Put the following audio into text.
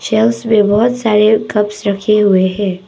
Shelves में बहुत सारे कप्स रखे हुए है।